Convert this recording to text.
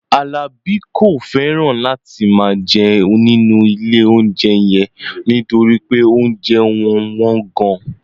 Alabi kò fẹ́ràn láti máa jẹ nínú ilé-oúnjẹ yẹn nítorí pé oúnjẹ wọn wọ́n gan-an